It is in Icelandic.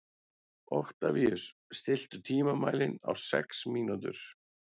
Oktavíus, stilltu tímamælinn á sex mínútur.